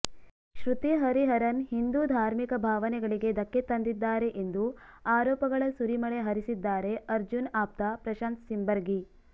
ಶೃತಿ ಹರಿಹರನ್ ಹಿಂದೂ ಧಾರ್ಮಿಕ ಭಾವನೆಗಳಿಗೆ ಧಕ್ಕೆ ತಂದಿದ್ದಾರೆ ಎಂದು ಆರೋಪಗಳ ಸುರಿಮಳೆ ಹರಿಸಿದ್ದಾರೆ ಅರ್ಜುನ್ ಆಪ್ತ ಪ್ರಶಾಂತ್ ಸಿಂಬರ್ಗಿ